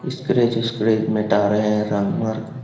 इस स्क्रैच विस्क्रच मिटा रहे है रंग मार्क में--